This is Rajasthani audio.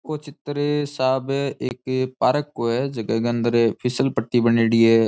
ओ चित्र साहब एक पार्क को है झके के अंदर फिसल पट्टी बनेडी है।